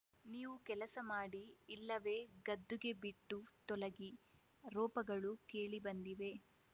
ನೀವು ಕೆಲಸ ಮಾಡಿ ಇಲ್ಲವೇ ಗದ್ದುಗೆ ಬಿಟ್ಟು ತೊಲಗಿ ರೋಪಗಳು ಕೇಳಿ ಬಂದಿವೆ